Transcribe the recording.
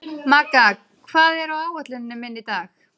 Magga, hvað er á áætluninni minni í dag?